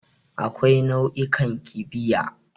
Akwai nau'ikan kibiya.